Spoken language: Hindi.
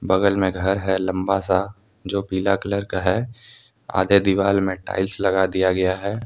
बगल में घर है लंबा सा जो पीला कलर का है आधे दीवाल में टाइल्स लगा दिया गया है।